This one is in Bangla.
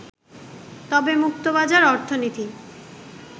তবে মুক্তবাজার অর্থনীতি